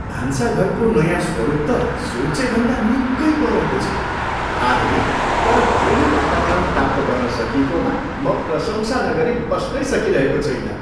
भान्साघरको नयाँ स्वरूप त सोचेभन्दा निकै परको छ, आधुनिक तर घरेलु वातावरण प्राप्त गर्न सकिएकोमा म प्रशंसा नगरी बस्नै सकिरहेको छुइनँ।